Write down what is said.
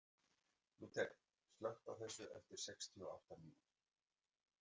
Lúter, slökktu á þessu eftir sextíu og átta mínútur.